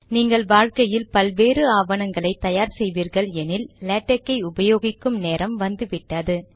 நீங்கள் வாழ்க்கையில் பல்வேறு ஆவணங்களை தயார் செய்வீர்கள் எனில் லேடக் ஐ உபயோகிக்கும் நேரம் வந்து விட்டது